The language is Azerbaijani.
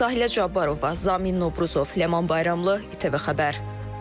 Sahilə Cabbarova, Zamin Novruzov, Ləman Bayramlı, İTV Xəbər.